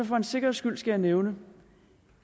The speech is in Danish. for en sikkerheds skyld skal jeg nævne